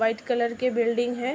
White colour की building हैं।